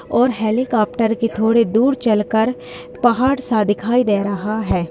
और हेलीकॉप्टर के थोड़ी दूर चल कर पहाड़ सा दिखाई दे रहा है।